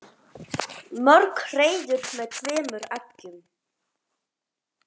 Mörg hreiður með tveimur eggjum.